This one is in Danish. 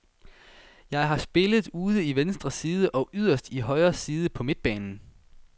Jeg har spillet ude i venstre side og yderst i højre side på midtbanen.